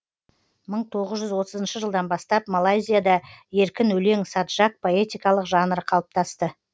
мың тоғыз жүз отызыншы жылдан бастап малайзияда еркін өлең саджак поэтикалық жанры қалыптасты